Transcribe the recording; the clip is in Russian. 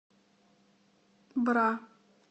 бра